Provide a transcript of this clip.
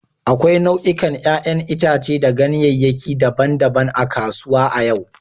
Akwai nau'ikan 'ƴa'ƴan itace da ganyeyaki daban-daban a kasuwa a yau.